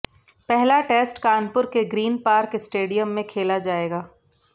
पहला टेस्ट कानपुर के Green Park stadium में खेला जाएगा